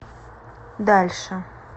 дальше